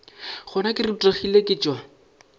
gona ke rutegile ke tšwa